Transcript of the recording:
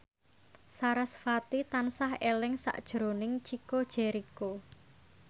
sarasvati tansah eling sakjroning Chico Jericho